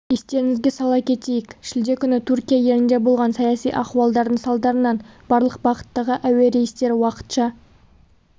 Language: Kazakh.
естеріңізге сала кетейік шілде күні түркия елінде болған саяси ахуалдардың салдарынан барлық бағыттағы әуе рейстері уақытша